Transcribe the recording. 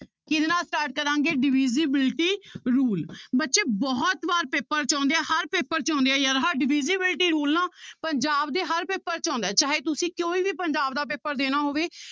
ਕਿਹਦੇ ਨਾਲ start ਕਰਾਂਗੇ divisibility rule ਬੱਚੇ ਬਹੁਤ ਵਾਰ ਪੇਪਰ 'ਚ ਆਉਂਦੇ ਆ ਹਰ ਪੇਪਰ 'ਚ ਆਉਂਦੇ ਆ ਯਾਰ ਹਰ divisibility rule ਨਾ ਪੰਜਾਬ ਦੇ ਹਰ ਪੇਪਰ 'ਚ ਆਉਂਦਾ ਹੈ ਚਾਹੇ ਤੁਸੀਂ ਕੋਈ ਵੀ ਪੰਜਾਬ ਦਾ ਪੇਪਰ ਦੇਣਾ ਹੋਵੇ